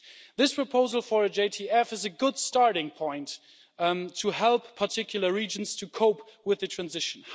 This proposal for a JTF is a good starting point to help particular regions to cope with the transition.